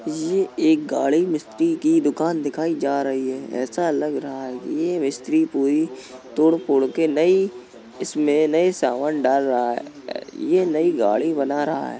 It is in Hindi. ये एक गाड़ी मिस्त्री की दुकान दिखाई जा रही है। ऐसा लग रहा है कि ये मिस्त्री पूरी तोड़ फोड़ के नई इसमें नए सामान डाल रहा हैं। ये नयी गाड़ी बना रहा है।